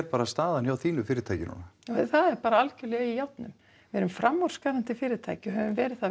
staðan hjá þínu fyrirtæki núna það er bara í járnum við erum framúrskarandi fyrirtæki og höfum verið það